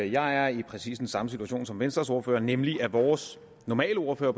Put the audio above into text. jeg er i præcis den samme situation som venstres ordfører nemlig at vores normale ordfører